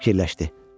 Fikirləşdi.